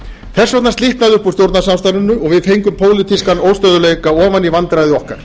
þess vegna slitnaði upp úr stjórnarsamstarfinu og við fengum pólitískan óstöðugleika ofan í vandræði okkar